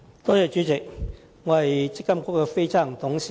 代理主席，我是積金局的非執行董事。